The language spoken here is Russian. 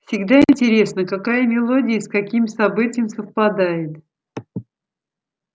всегда интересно какая мелодия и с каким событием совпадает